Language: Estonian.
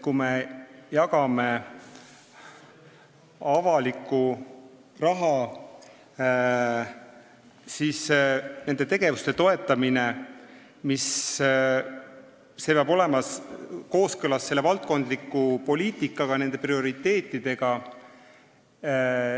Kui me jagame avalikku raha, siis nende tegevuste toetamine peab olema kooskõlas valdkondliku poliitikaga, nende prioriteetidega.